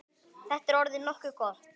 Þetta er orðið nokkuð gott.